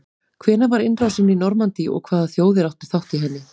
hvenær var innrásin í normandí og hvaða þjóðir áttu þátt í henni